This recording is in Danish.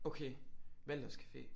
Okay Walthers café